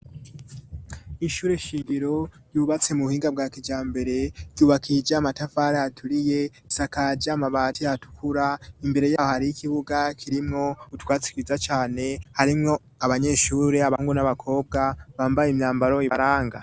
Ishure shingiro ryubatse mu buhinga bwa kijambere, ryubakishije amatafari aturiye isakaje amabati atukura imbere yaho hari y'ikibuga kirimwo utwatsi twiza cane harimwo abanyeshuri, abahungu n'abakobwa bambaye imyambaro ibaranga.